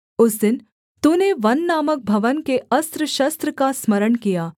उसने यहूदा का घूँघट खोल दिया है उस दिन तूने वन नामक भवन के अस्त्रशस्त्र का स्मरण किया